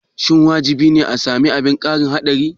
Shin wajibi ne a sami abin kari haɗari?